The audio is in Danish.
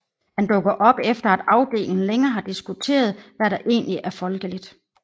Han dukker op efter at afdelingen længe har diskuteret hvad der egentlig er folkeligt